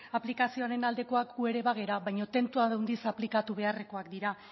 aplikazioen aldekoak gu ere bagara baina tentu handiz aplikatu beharrekoak dira